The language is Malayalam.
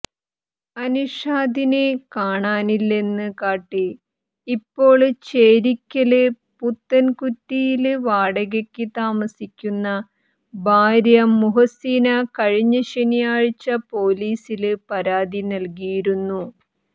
അന്ഷാദിനെ കാണാനില്ലെന്ന് കാട്ടി ഇപ്പോള് ചേരിയ്ക്കല് പുത്തന്കുറ്റിയില് വാടകയ്ക്ക് താമസിക്കുന്ന ഭാര്യ മുഹ്സീന കഴിഞ്ഞ ശനിയാഴ്ച പോലീസില് പരാതി നല്കിയിരുന്നു